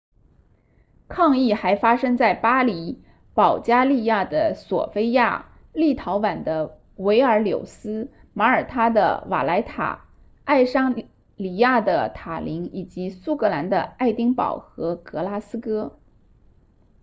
抗议还发生在巴黎保加利亚的索非亚立陶宛的维尔纽斯马耳他的瓦莱塔爱沙尼亚的塔林以及苏格兰的爱丁堡和格拉斯哥